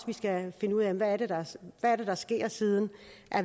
vi skal finde ud af hvad det er der sker siden